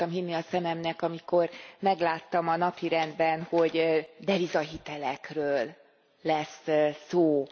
Nem akartam hinni a szememnek, amikor megláttam a napirendben, hogy devizahitelekről lesz szó.